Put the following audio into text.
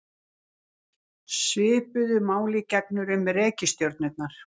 Svipuðu máli gegnir um reikistjörnurnar.